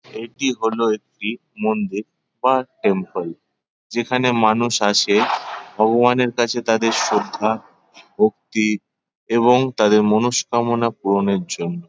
এটি হলো একটি মন্দির বা টেমপেল | যেখানে মানুষ আসে ভগবানের কাছে তাদের শ্রদ্ধা ভক্তি এবং তাদের মনোস্কামনা পূরণের জন্যে ।